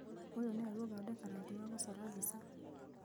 ũyũ nĩoĩ gũthondeka rangi wa gũcora mbica